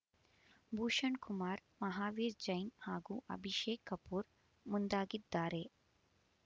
ಭೂಷಣ್ ಕುಮಾರ್ ಮಹಾವೀರ್ ಜೈನ್ ಹಾಗೂ ಅಭಿಷೇಕ್ ಕಪೂರ್ ಮುಂದಾಗಿದ್ದಾರೆ